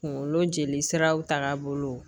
Kungolo jeli siraw taga bolo